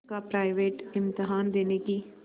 का प्राइवेट इम्तहान देने की